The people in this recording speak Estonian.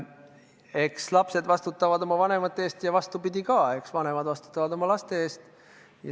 Eks lapsed vastutavad oma vanemate eest ja vastupidi ka – vanemad vastutavad oma laste eest.